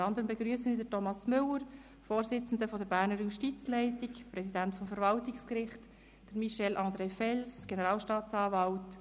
Unter anderem begrüsse ich Thomas Müller, Vorsitzender der Berner Justizleitung und Präsident des Verwaltungsgerichts, sowie Michel-André Fels, Generalstaatsanwalt.